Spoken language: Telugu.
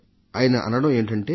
ఆయన అనడం ఏమిటంటే